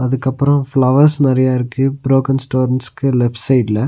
அதுகப்றோ flowers நெறைய இருக்கு broken ஸ்டோன்ஸ்க்கு லெஃப்ட் சைடுல .